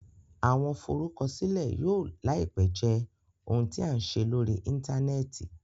Awọn Forukọsilẹ yóò laipe jẹ ohun tí a n ṣe lórí interneti